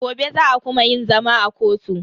Gobe za a kuma yin zama a kotu.